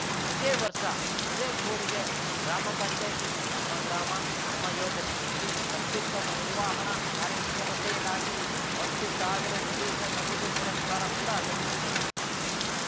ಇದೇ ವರ್ಷ ಹಿರೇಕೊಡಿಗೆ ಗ್ರಾಮ ಪಂಚಾಯತಿ ನಮ್ಮ ಗ್ರಾಮ ನಮ್ಮ ಯೋಜನೆಯಡಿ ಅತ್ಯುತ್ತಮ ನಿರ್ವಹಣಾ ಕಾರ್ಯಕ್ಷಮತೆಗಾಗಿ ಹತ್ತು ಸಾವಿರ ವಿಶೇಷ ನಗದು ಪುರಸ್ಕಾರ ಕೂಡ ಲಭಿಸಿದೆ